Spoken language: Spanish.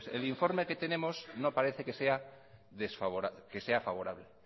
pues el informe que tenemos no parece que sea favorable